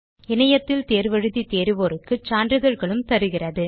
இணையத்தில் தேர்வு எழுதி தேர்வோருக்கு சான்றிதழ்களும் அளிக்கிறது